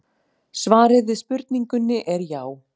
Svarið við spurningunni er já.